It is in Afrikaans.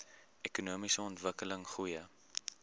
ekonomiese ontwikkeling goeie